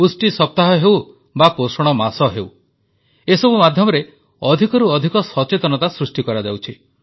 ପୁଷ୍ଟି ସପ୍ତାହ ହେଉ ବା ପୋଷଣ ମାସ ହେଉ ଏସବୁ ମାଧ୍ୟମରେ ଅଧିକରୁ ଅଧିକ ସଚେତନତା ସୃଷ୍ଟି କରାଯାଉଛି